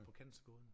På cancergåden